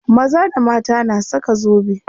Maza da mata na saka zobe.